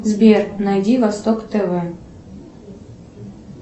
сбер найди восток тв